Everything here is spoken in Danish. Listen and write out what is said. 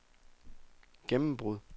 gennembrud